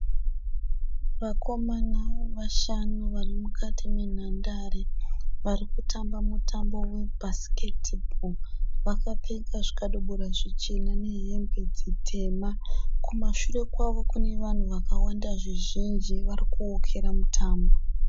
Vakomana vashanu vari mukati menhandare vari kutamba mutambo webhasiketi bho. Vakapfeka zvikabudura zvichena nehembe dzitema. Kumashure kwavo kune vanhu vakawanda zvizhinji vari kuwokera mutambo.